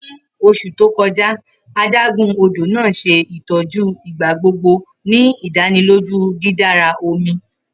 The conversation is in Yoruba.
Ni oṣu to kọja, adagun odo naa ṣe itọju igbagbogbo, ni idaniloju didara omi.